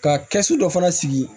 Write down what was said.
Ka kɛsu dɔ fana sigi